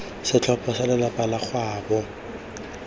setlhopha sa lelapa la gaabo